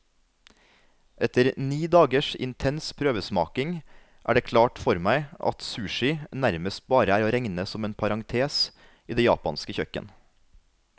Etter ni dagers intens prøvesmaking er det klart for meg at sushi nærmest bare er å regne som en parentes i det japanske kjøkken.